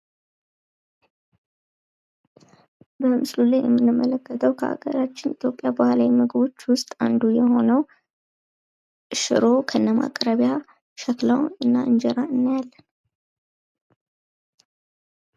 በምስሉ ላይ የምንመለከተው በሀገራችን የባህላዊ ምግቦች ውስጥ አንዱ የሆነው ሽሮ ከነማቅረቢያ ሸክላው እና እንጀራ እናያለን።